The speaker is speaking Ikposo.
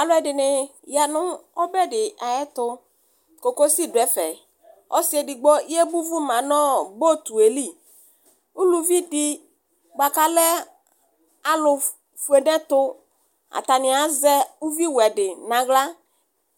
Alʋɛdɩnɩ ya nʋ ɔbɛ dɩ ayɛtʋ cocosɩ dʋ ɛfɛ Ɔsɩ edɩgbo yebʋ vʋ ma nʋ potʋelɩ ʋlʋvi dɩ bʋa kalɛ alʋ fʋe nɛtʋ atanɩ azɛ ʋvi wɛ dɩ naɣla